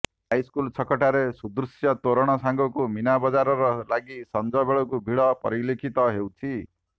high school ଛକଠାରେ ସୁଦୃଶ୍ୟ ତୋରଣ ସାଙ୍ଗକୁ ମୀନାବଜାର ଲାଗି ସଂଜ ବେଳକୁ ଭିଡ଼ ପରିଲକ୍ଷିତ ହେଉଛି